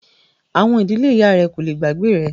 Àwọn “ ìdílé ìyá rẹ” kò le gbàgbé rẹ.